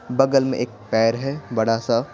बगल में एक पैर है बड़ा सा--